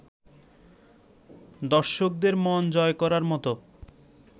দর্শকদের মন জয় করার মতো